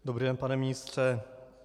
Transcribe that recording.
Dobrý den, pane ministře.